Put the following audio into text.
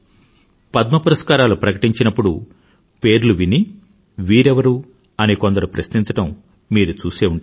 పద్మ పురస్కారాలు ప్రకటించినప్పుడు పేర్లు విని వీరెవరు అని కొందరు ప్రశ్నించడం మీరు చూసే ఉంటారు